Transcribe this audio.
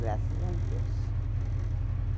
Graças a Deus.